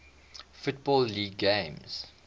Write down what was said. football league games